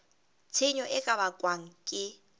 tshenyo e ka bakwang ke